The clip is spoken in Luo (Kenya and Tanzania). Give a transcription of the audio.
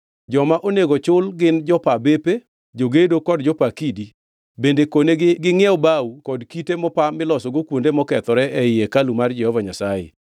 Joma onego chul gin jopa bepe, jogedo kod jopa kidi. Bende konegi gingʼiew bao kod kite mopa milosogo kuonde mokethore ei hekalu mar Jehova Nyasaye.